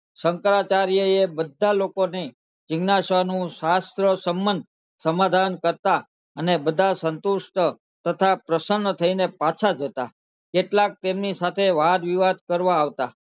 શંકરાચાર્ય એ બધા લોકો ની જીજ્ઞાશા નું સહસ્ત્રાં સમંત સમાધાન કરતા અને બધા સંતુષ્ટ હતા તથા પ્રશ્ર્ન થઈ ને જતા કેટલાક તેમની સાથે વાત વિવાદ કરવા આવતા